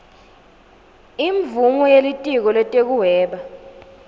imvumo yelitiko letekuhweba